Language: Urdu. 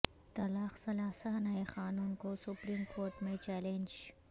طلاق ثلاثہ نئے قانون کو سپریم کورٹ میں چیلنج